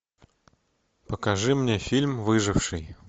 покажи мне фильм выживший